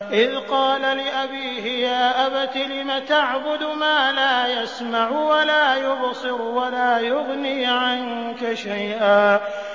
إِذْ قَالَ لِأَبِيهِ يَا أَبَتِ لِمَ تَعْبُدُ مَا لَا يَسْمَعُ وَلَا يُبْصِرُ وَلَا يُغْنِي عَنكَ شَيْئًا